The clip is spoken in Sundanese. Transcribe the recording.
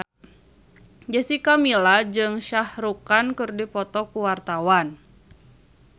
Jessica Milla jeung Shah Rukh Khan keur dipoto ku wartawan